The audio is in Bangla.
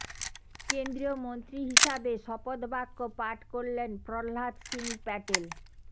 কেন্দ্রীয়মন্ত্রী হিসাবে শপথ বাক্য পাঠ করলেন প্রহ্লাদ সিং প্যাটেল